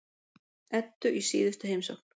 Eddu í síðustu heimsókn.